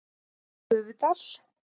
Gufudal